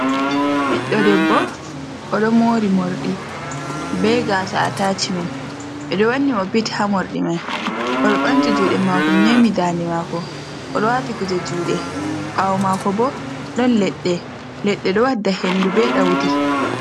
Biɗɗo debbo, o ɗo mori morɗi be gasa atashmen. Ɓe ɗo wanni mo bit ha morɗi mai. O ɗo ɓamti juɗe mako memi dande mako. O ɗo wati kuje juɗe. Ɓaawo mako bo, ɗon leɗɗe-leɗɗe, ɗo wadda hendu, be ɗaudi.